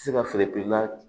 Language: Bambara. Se ka feere perila